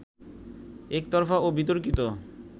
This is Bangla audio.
একতরফা ও বিতর্কিত